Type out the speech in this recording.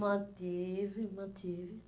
Mantive, mantive.